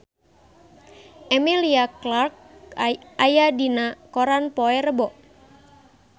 Emilia Clarke aya dina koran poe Rebo